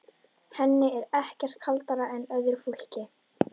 Henni er ekkert kaldara en öðru fólki.